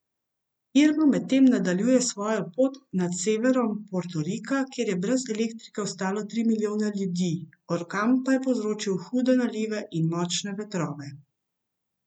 Irma medtem nadaljuje svojo pot nad severom Portorika, kjer je brez elektrike ostalo tri milijone ljudi, orkan pa je povzročil hude nalive in močne vetrove.